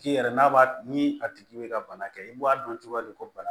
K'i yɛrɛ n'a ni a tigi bɛ ka bana kɛ i b'a dɔn cogo di ko bana